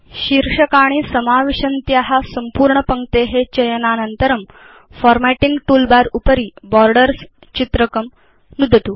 शीर्षकाणि समाविशन्त्या सम्पूर्ण पङ्क्ते चयनानन्तरं फार्मेटिंग टूलबार उपरि बोर्डर्स् चित्रकं नुदतु